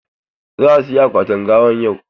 Za a saya akwatin gawan yau?